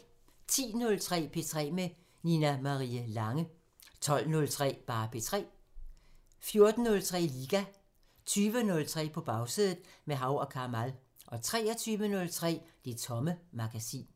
10:03: P3 med Nina Marie Lange 12:03: P3 14:03: Liga 20:03: På Bagsædet – med Hav & Kamal 23:03: Det Tomme Magasin